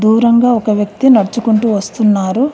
దూరంగా ఒక వ్యక్తి నడుచుకుంటూ వస్తున్నారు.